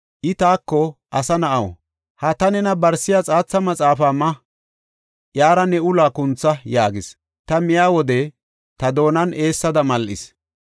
I taako, “Asa na7aw, ha ta nena barsiya xaatha maxaafa ma; iyara ne uluwa kuntha” yaagis. Ta miya wode ta doonan eessada mal7is.